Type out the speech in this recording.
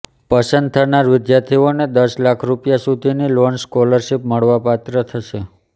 પસંદ થનાર વિદ્યાર્થીઓને દસ લાખ રૂપિયા સુધીની લોન સ્કોલરશીપ મળવાપાત્ર થશે